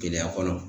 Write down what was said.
Gɛlɛya kɔnɔ